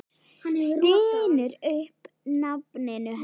Stynur upp nafninu hennar.